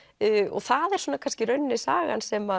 og það er svona kannski í rauninni sagan sem